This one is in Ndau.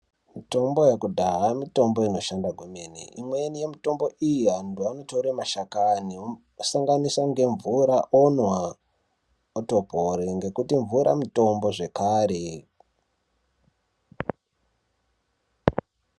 Mitombo yekudhaya mitombo inoshanda kwemene imweni yemitombo iyi antu anotore mashakani omasanganisa ngemvura onwa otopore ngekuti mvura mutombo zvekare.